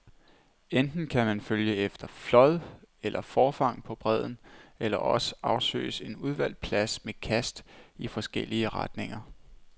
Enten kan man følge efter flåd eller forfang på bredden, eller også afsøges en udvalgt plads med kast i forskellige retninger.